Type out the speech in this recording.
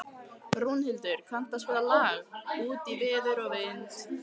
Rúnhildur, kanntu að spila lagið „Út í veður og vind“?